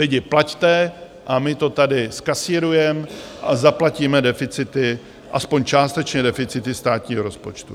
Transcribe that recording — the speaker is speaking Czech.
Lidi, plaťte a my to tady zkasírujeme a zaplatíme deficity, aspoň částečně deficity státního rozpočtu.